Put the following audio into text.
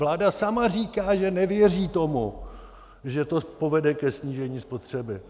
Vláda sama říká, že nevěří tomu, že to povede ke snížení spotřeby.